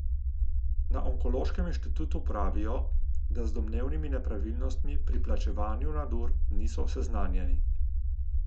Na Onkološkem inštitutu pravijo, da z domnevnimi nepravilnostmi pri plačevanju nadur niso seznanjeni.